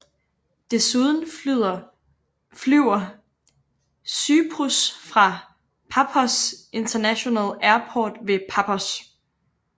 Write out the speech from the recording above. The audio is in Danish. Desuden flyver Cyprus fra Paphos International Airport ved Paphos